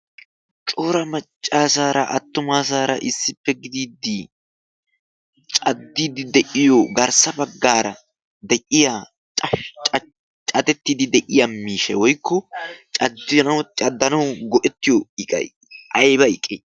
coora maccaasaara attumaasaara issippe gidiiddii caddiiddi de'iyo garssa baggaara de'iya catettiddi de'iya miisha woykko caddanau go'ettiyo iqayi ayba iqqee?